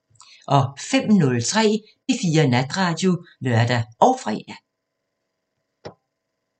05:03: P4 Natradio (lør og fre)